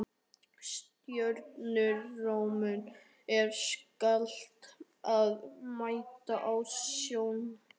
Stjórnarmönnum er skylt að mæta á stjórnarfundum.